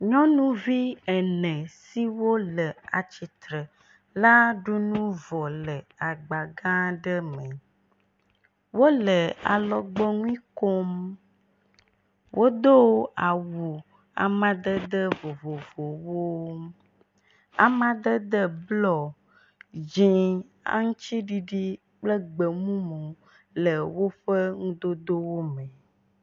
Nyɔnuvi ene siwo le atsi tre la ɖu nu vɔ le agba gã ɖe me. Wole alɔgbɔnu kom. Wodo awu amadede vovovowo. Amadede blu, dzĩ, aŋtsiɖiɖi kple gbemumu le woƒe nudodowo me.